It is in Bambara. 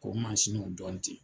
Ko y'o dɔn te